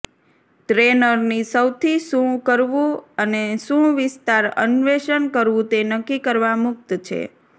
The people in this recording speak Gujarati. ટ્રેનરની સૌથી શું કરવું અને શું વિસ્તાર અન્વેષણ કરવું તે નક્કી કરવા મુક્ત છે